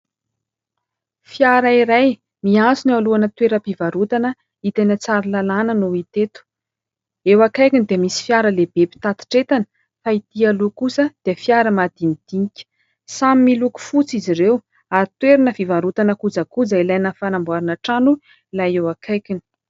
Fiara iray miantsona eo alohana toeram-pivarotana hita eny Tsaralalàna no hita eto, eo akaikiny dia misy fiara lehibe mpitatitra entana fa ity aloha kosa dia fiara madinidinika, samy miloko fotsy izy ireo ary toerana fivarotana kojakoja ilaina amin'ny fanamboarana trano ilay eo akaikiny.